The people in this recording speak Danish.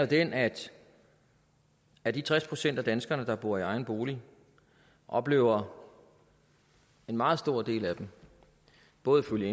den at af de tres procent af danskerne der bor i egen bolig oplever en meget stor del af dem både ifølge